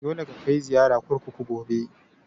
Dole ka kai ziyara kurkuku gobe!